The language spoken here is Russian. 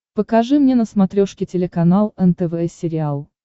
покажи мне на смотрешке телеканал нтв сериал